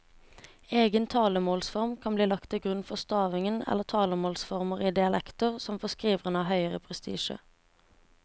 Egen talemålsform kan bli lagt til grunn for stavingen eller talemålsformer i dialekter som for skriveren har høgere prestisje.